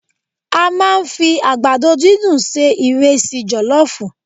A máa ń fi àgbàdo dúndùn se ìresí jọ̀lọ́fù.